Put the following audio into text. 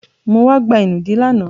Mo wá gba ìnùdí lánàá.